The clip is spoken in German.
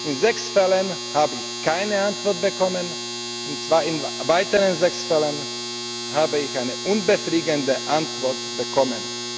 In sechs Fällen habe ich keine Antwort bekommen und in weiteren sechs Fällen habe ich eine unbefriedigende Antwort bekommen.